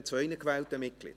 Herr Bürki legt den Eid ab.